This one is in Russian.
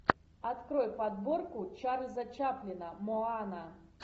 открой подборку чарльза чаплина моана